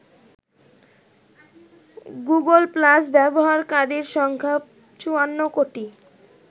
Google Plus ব্যবহারকারীর সংখ্যা ৫৪ কোটি।